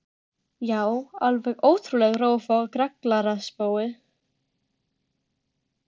Já, alveg ótrúleg rófa og grallaraspói.